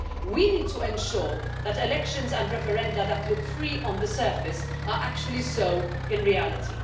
We need to ensure that elections and referenda that look free on the surface are actually so in reality.